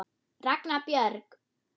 Ragna Björg.